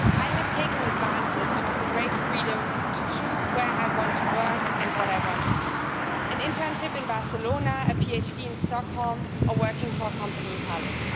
I have taken advantage of the great freedom to choose where I want to work and what I want to do an internship in Barcelona, a PhD in Stockholm or working for a company in Tallinn.